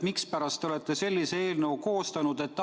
Mispärast te olete sellise eelnõu koostanud?